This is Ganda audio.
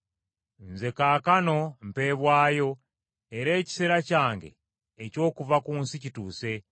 Nze kaakano mpebwayo, era ekiseera kyange eky’okuva ku nsi kituuse.